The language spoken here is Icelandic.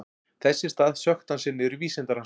Þess í stað sökkti hann sér niður í vísindarannsóknir.